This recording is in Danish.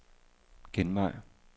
genvej